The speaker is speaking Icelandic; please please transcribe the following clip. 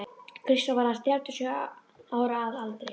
Kristján var aðeins þrjátíu og sjö ára að aldri.